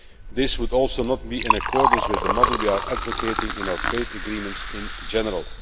This would also not be in accordance with the model we are advocating in our trade agreements in general.